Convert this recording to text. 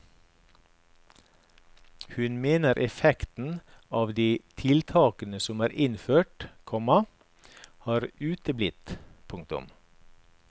Hun mener effekten av de tiltakene som er innført, komma har uteblitt. punktum